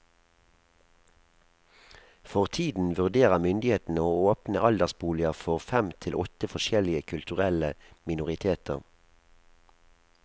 For tiden vurderer myndighetene å åpne aldersboliger for fem til åtte forskjellige kulturelle minoriteter.